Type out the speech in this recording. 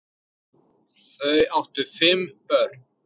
Þau áttu þá fimm börn.